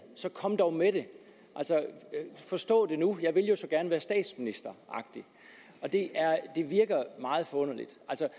så kom dog med det forstå det nu jeg vil jo så gerne være statsminister det virker meget forunderligt